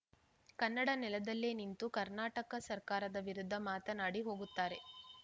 ಕನ್ನಡ ನೆಲದಲ್ಲೇ ನಿಂತು ಕರ್ನಾಟಕ ಸರ್ಕಾರದ ವಿರುದ್ಧ ಮಾತನಾಡಿ ಹೋಗುತ್ತಾರೆ